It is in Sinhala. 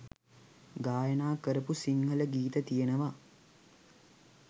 ගායනා කරපු සිංහල ගීත තියෙනවා.